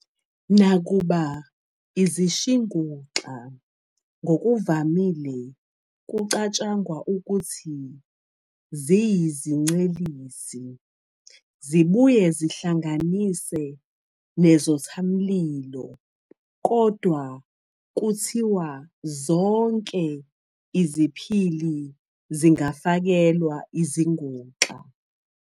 Nakuba izishinguxa ngokuvamile kucatshangwa ukuthi ziyizincelisi, zibuye zihlanganise nezothamlilo, kodwa kuthiwa zonke iziphili zingafakelwa izinguxa.